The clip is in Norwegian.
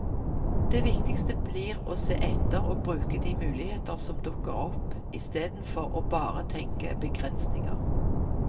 Det viktigste blir å se etter og bruke de muligheter som dukker opp istedenfor å bare tenke begrensninger.